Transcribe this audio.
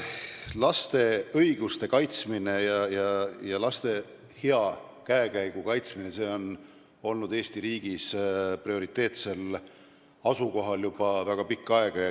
Laste õiguste ja hea käekäigu kaitsmine on olnud Eesti riigis prioriteetsel kohal juba väga pikka aega.